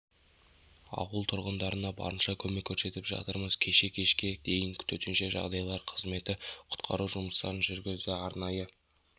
ауыл тұрғындарына барынша көмек көрсетіп жатырмыз кеше кешке дейін төтенше жағдайлар қызметі құтқару жұмыстарын жүргізді арнайы